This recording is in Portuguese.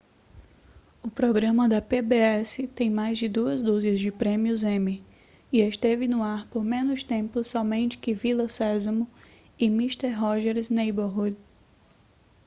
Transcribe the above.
o programa da pbs tem mais de duas dúzias de prêmios emmy e esteve no ar por menos tempo somente que vila sésamo e mister rogers' neighborhood